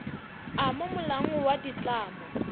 a mo molaong wa ditlamo